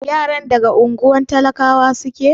Yaran daga unguwar talakawa suke?